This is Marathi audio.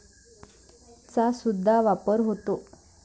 चा सुद्धा वापर होता.